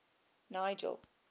nigel